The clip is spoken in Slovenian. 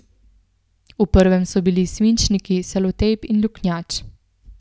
V prvem so bili svinčniki, selotejp in luknjač.